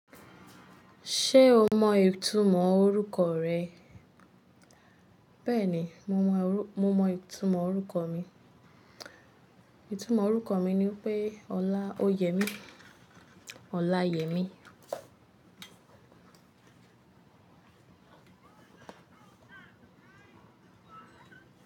Ṣé o mọ ìtumọ̀ orúkọ rẹ? Bẹ́ẹ̀ni, mo mọ ìtumọ̀ orúkọ mi. Ìtumọ̀ orúkọ mi ni pé Ọlá óyèmi, Ọláyẹmí.